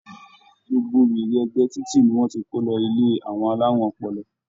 Gbogbo wèrè ẹ̀gbẹ́ títì ni wọ́n ti kó lọ ilé àwọn alárùn ọpọlọ.